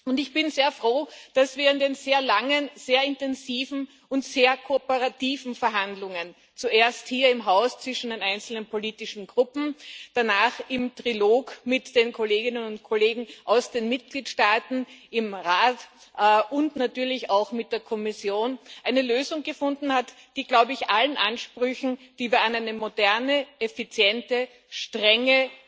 Und ich bin sehr froh, dass wir in den sehr langen, sehr intensiven und sehr kooperativen Verhandlungen zuerst hier im Haus, zwischen den einzelnen politischen Gruppen, danach im Trilog mit den Kolleginnen und Kollegen aus den Mitgliedstaaten, im Rat und natürlich auch mit der Kommission eine Lösung gefunden haben, die, glaube ich, allen Ansprüchen, die wir an eine moderne, effiziente, strenge,